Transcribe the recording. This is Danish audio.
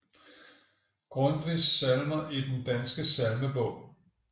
Grundtvig Salmer i Den Danske Salmebog